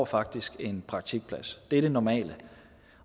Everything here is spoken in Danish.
faktisk får en praktikplads det er det normale